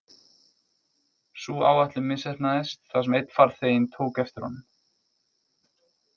Sú áætlun misheppnaðist þar sem einn farþeginn tók eftir honum.